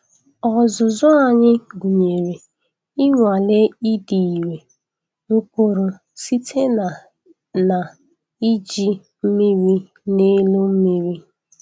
Ọzụzụ anyị gụnyere ịnwale ịdị irè mkpụrụ site na na iji mmiri n'elu mmiri.